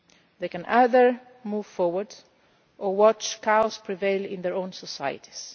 peace. They can either move forward or watch cowards prevail in their own societies.